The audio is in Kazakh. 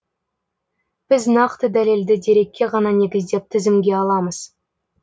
біз нақты дәлелді дерекке ғана негіздеп тізімге аламыз